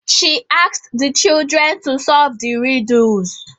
She asked the children to solve the riddles